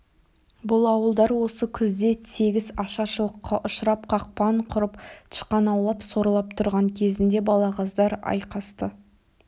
бұл ауылдар осы күзде тегіс ашаршылыққа ұшырап қақпан құрып тышқан аулап сорлап тұрған кезінде балағаздар айқасты